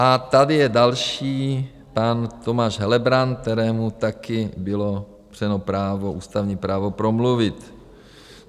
A tady je další - pan Tomáš Helebrant, kterému také bylo upřeno právo, ústavní právo, promluvit.